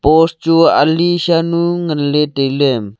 post chu ali shan ngan ley le tailey.